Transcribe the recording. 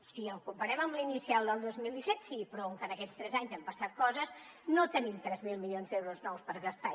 si el comparem amb l’inicial del dos mil disset sí però com que en aquests tres anys han passat coses no tenim tres mil milions d’euros nous per gastar